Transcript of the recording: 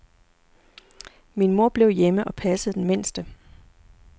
Min mor blev hjemme og passede den mindste.